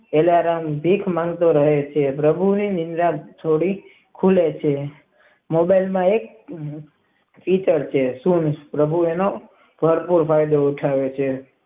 Alarm ભીખ માંગતો રહે છે પ્રભુ હું નિદ્રા છોડી મોબાઇ માં માં પ્રભુ અને પ્રફુલ ભાઈ ને જગાડે છે.